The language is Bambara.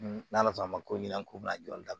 N'ala fɔ ma ko ɲina ko n'a jɔli dabila